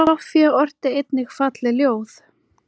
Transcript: Soffía orti einnig falleg ljóð.